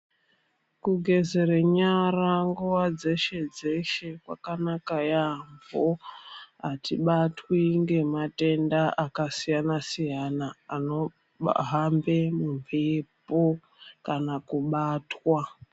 Kugeza nyara nguva dzeshe dzeshe kwakanaka yaamho. Atibatwi ngematenda akasiyana siyana anohamba mumhepo kana kubatwa.